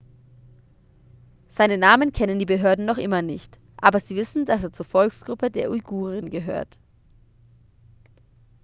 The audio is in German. seinen namen kennen die behörden noch immer nicht aber sie wissen dass er zur volksgruppe der uiguren gehört